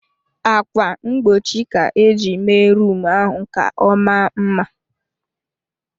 Akwa mgbochi ka-eji mee rum ahụ ka ọmaa mma.